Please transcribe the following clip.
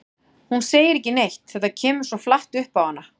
Hún segir ekki neitt, þetta kemur svo flatt upp á hana.